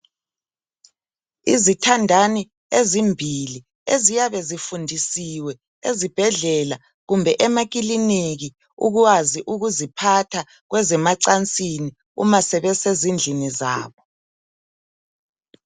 Izithandani ezimbili eziyabe zifundisiwe ezibhedlela kumbe emakiliniki ukwazi ukuziphatha kwezemacansini uma sebesezindlini zabo.